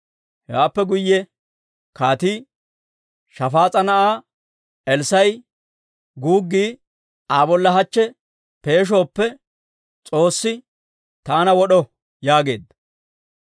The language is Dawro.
Hewaappe guyye kaatii, «Shafaas'a na'aa Elssaa'a guuggi Aa bolla hachche peeshooppe, S'oossi taana wod'o!» yaageedda.